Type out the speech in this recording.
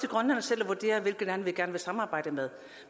grønland selv hvilke lande vi gerne vil samarbejde med